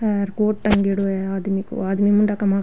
ये कोट टागेडो है आदमी को आदमी --